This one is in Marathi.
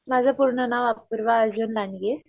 माझं पूर्ण नाव अपूर्वा अर्जुन लांडगे.